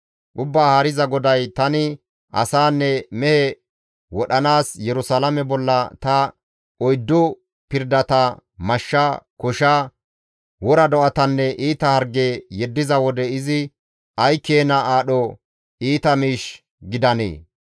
«Ubbaa Haariza GODAY: tani asaanne mehe wodhanaas Yerusalaame bolla ta oyddu pirdata, mashsha, kosha, wora do7atanne iita harge yeddiza wode izi ay keena aadho iita miish gidandee!